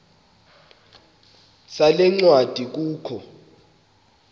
sale ncwadi kukho